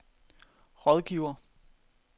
rådgiver